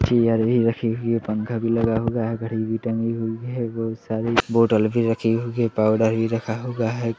Chair भी रखी हुई है पंखा भी लगा हुआ है घड़ी भी टंगी हुई है बहुत सारी बोटल भी रखी हुई है पाउडर भी रखा हुआ है।